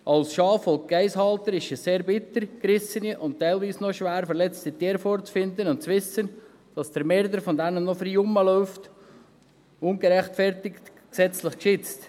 Als Schaf- und Geissenhalter ist es sehr bitter, gerissene und teilweise noch schwer verletzte Tiere vorzufinden und zu wissen, dass ihr Mörder noch frei herumläuft, ungerechtfertigt, gesetzlich geschützt.